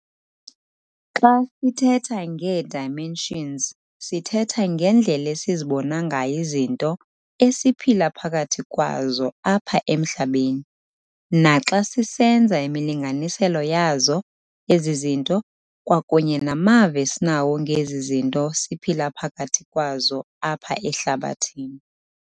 Xa sithetha ngee-dimensions sithetha ngendlela esizibona ngayo izinto esiphila phakathi kwazo apha emhlabeni, naxa sisenza imilinganiselo yazo ezi zinto, kwakunye namava esinawo ngezi zinto siphila phkathi kwazo apha ehlabathini.